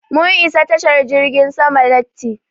Mun isa tashar jirgin sama latti.